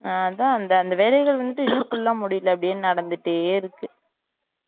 அஹ் அதான் அந்த வேலைகள் மட்டும் இன்னும் full முடியல அப்டியே நடந்துட்டே இருக்கு